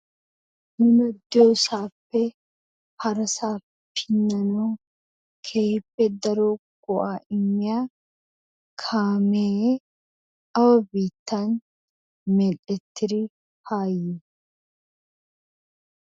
Nu diyoosaappe harasaa pinnanawu keehippe daro go"aa immiya kaamee awa biittan mel"etiri haa yii?